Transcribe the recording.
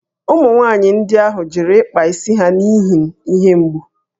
Ụmụ nwanyị ndị ahụ jụrụ ịkpa isi ha n’ihi ihe mgbu